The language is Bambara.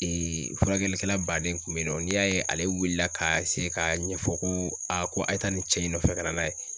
furakɛlikɛla baden kun be yen nɔ n'i y'a ye ale wulila ka ka ɲɛfɔ ko a ko a ye taa nin cɛ in nɔfɛ ka na n'a ye